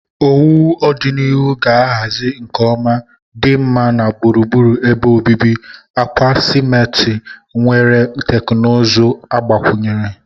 owuwu ọdịnihu ga-ahazi nke ọma, dinma na gburugburu ebe obibi, akwa simarti nwere teknụzụ agbakwunyere.